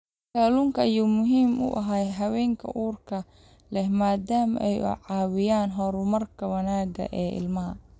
Kalluunka ayaa muhiim u ah haweenka uurka leh maadaama uu ka caawinayo horumarka wanaagsan ee ilmaha.